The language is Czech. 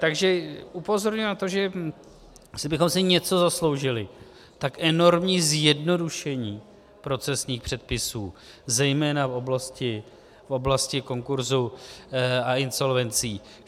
Takže upozorňuji na to, že jestli bychom si něco zasloužili, tak enormní zjednodušení procesních předpisů zejména v oblasti konkurzu a insolvencí.